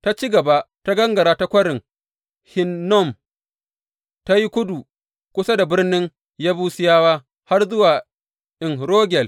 Ta ci gaba ta gangara ta Kwarin Hinnom ta yi kudu kusa da birnin Yebusiyawa har zuwa En Rogel.